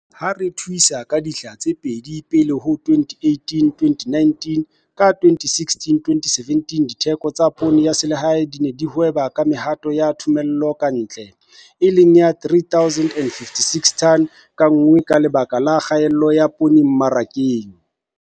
Ha re thuisa ka dihla tse pedi pele ho 2018---2019, ka 2016-2017 ditheko tsa poone ya selehae di ne di hweba ka mehato ya thomello ka ntle, e leng ya 3 056 tone ka nngwe ka baka la kgaello ya poone mmarakeng.